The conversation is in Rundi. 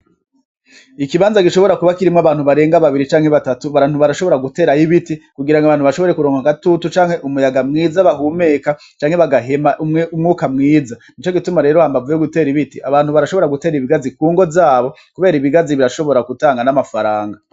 Ikibanza gishobora kuba kirimwo abantu barenga babiri canke batatu, Abantu barashobora guterayo ibiti kugirango abantu bashobore kuronka agatutu canke umuyaga mwiza bahumeka canke bagahema umwuka mwiza nico gituma rero hambavu yo gutera ibiti abantu barashobora gutera ibigazi kungo zabo kubera ibigazi birashobora gutanga n'amafaranga.